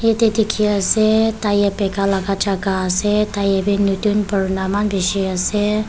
etyeh dekhi ase tire bekai laga jaka ase tire bhi nutun purana eman beshi ase.